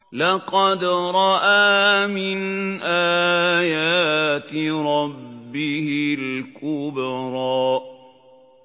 لَقَدْ رَأَىٰ مِنْ آيَاتِ رَبِّهِ الْكُبْرَىٰ